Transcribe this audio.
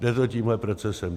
Jde to tímhle procesem.